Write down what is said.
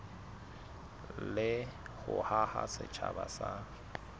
le ho haha setjhaba sa